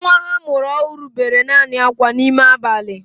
Nwa ha a mụrụ ọhụrụ bere naanị akwa n'ime abalị